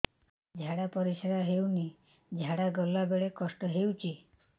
ଝାଡା ପରିସ୍କାର ହେଉନି ଝାଡ଼ା ଗଲା ବେଳେ କଷ୍ଟ ହେଉଚି